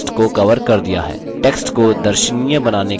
आयत ने अब text को कवर कर दिया है